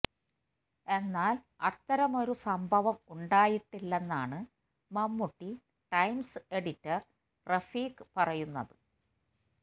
എന്നാല് അത്തരമൊരു സംഭവം ഉണ്ടായിട്ടില്ലെന്നാണ് മമ്മൂട്ടി ടൈംസ് എഡിറ്റര് റഫീഖ് പറയുന്നത്